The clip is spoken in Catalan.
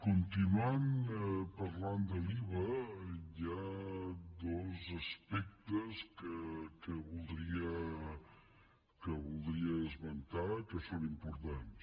continuant parlant de l’iva hi ha dos aspectes que voldria esmentar que són importants